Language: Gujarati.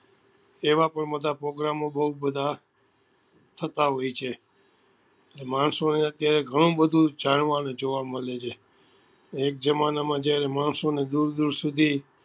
એવા પણ બધા program ઓ બધા બઉ બધા થતા હોય છે માણસો ને અત્યારે ગણું બધું જાણવા નું જોવા મળે છે એક જમાના માં જયારે માણસો ને દુર દુર સુધી